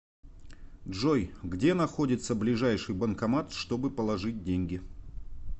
джой где находится ближайший банкомат чтобы положить деньги